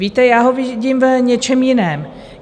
Víte, já ho vidím v něčem jiném.